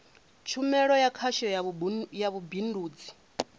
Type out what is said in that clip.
tshumelo ya khasho ya vhubindudzi